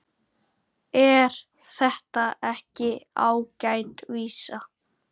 Er þetta ekki ágæt vísa?